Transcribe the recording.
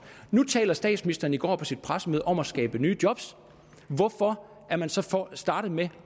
nu talte statsministeren i går på sit pressemøde om at skabe nye job hvorfor er man så startet med